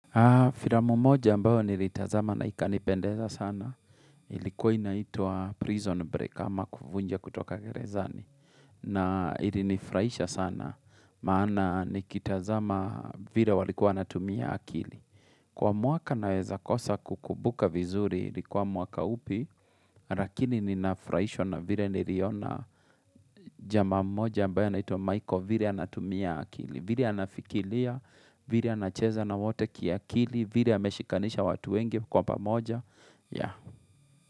Ah, firamu moja ambao niritazama na ikanipendeza sana. Ilikuwa inaitwa prison break ama kufunja kutoka gerezani. Na ilinifurahaisha sana, maana ni kitazama vile walikuwa wanatumia akili. Kwa mwaka naweza kosa kukumbuka vizuri ilikuwa mwaka upi, rakini ninafurahaisha na vile niliona jama moja ambaye anaitwa maichael vile anatumia akili. Vile anafikilia, vile anacheza na wote kia akili, vile yameshikanisha watu wenge kwa pamoja ya.